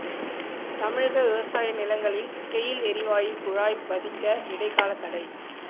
தமிழக விவசாய நிலங்களில் கெயில் எரிவாயு குழாய் பதிக்க இடைக்காலத் தடை